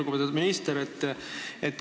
Lugupeetud minister!